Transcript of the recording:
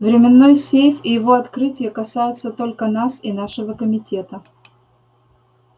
временной сейф и его открытие касаются только нас и нашего комитета